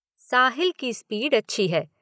साहिल की स्पीड अच्छी है।